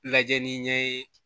Lajɛli ɲɛ ye